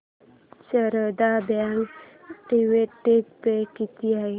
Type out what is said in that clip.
Sharda bank dividend pay किती आहे